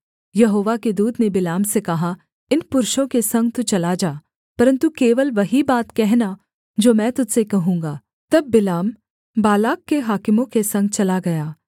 यहोवा के दूत ने बिलाम से कहा इन पुरुषों के संग तू चला जा परन्तु केवल वही बात कहना जो मैं तुझ से कहूँगा तब बिलाम बालाक के हाकिमों के संग चला गया